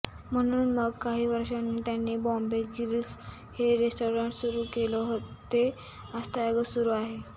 म्हणून मग काही वर्षानी त्यानी बॉम्बे ग्रिल्स हे रेसटॉरंट सुरु केलं ते आजतागायत सुरु आहे